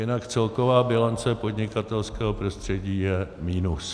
Jinak celková bilance podnikatelského prostředí je minus.